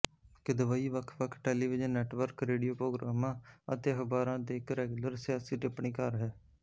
ਕਿਦਵਈ ਵੱਖਵੱਖ television network radio ਪ੍ਰੋਗਰਾਮਾਂ ਅਤੇ ਅਖ਼ਬਾਰਾਂ ਤੇ ਇੱਕ ਰੈਗੂਲਰ ਸਿਆਸੀ ਟਿੱਪਣੀਕਾਰ ਹੈ